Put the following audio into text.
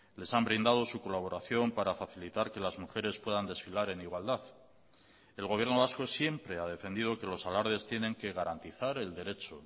les han brindado su colaboración para facilitar que las mujeres puedan desfilar en igualdad el gobierno vasco siempre ha defendido que los alardes tienen que garantizar el derecho